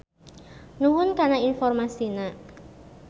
Nuhun kana informasina.